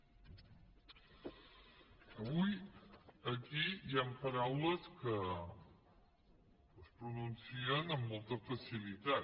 avui aquí hi han paraules que es pronuncien amb molta facilitat